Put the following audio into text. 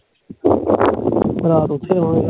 ਰਾਤ ਓਥੇ ਰਵਾਂਗੇ